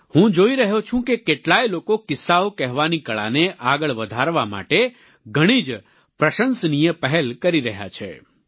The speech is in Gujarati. હું જોઈ રહ્યો છું કે કેટલાય લોકો કિસ્સાઓ કહેવાની કળાને આગળ વધારવા માટે ઘણી જ પ્રશંસનિય પહેલ કરી રહ્યા છે